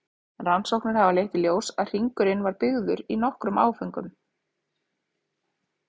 Rannsóknir hafa leitt í ljós að hringurinn var byggður í nokkrum áföngum.